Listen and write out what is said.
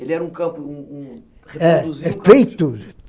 Ele era um um um campo reproduzido? É